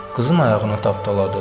Qızın ayağını tapdaladı.